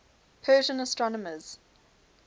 persian astronomers